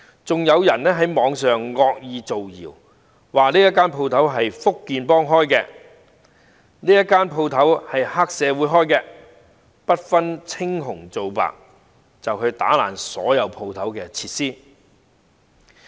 此外，有人在網上惡意造謠，指一些店鋪是福建幫經營的，也有一些是黑社會經營的，然後不分青紅皂白破壞店鋪內的所有設施。